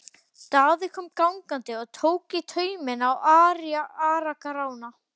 Daði kom gangandi og tók í tauminn á Ara-Grána.